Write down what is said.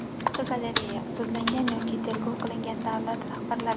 Fotogalereya: Sudlangan yoki tergov qilingan davlat rahbarlari.